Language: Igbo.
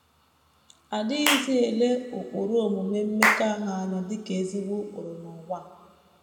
A dịghịzi ele ụkpụrụ omume mmekọahụ anya dị ka ezi ụkpụrụ n’ụwa a.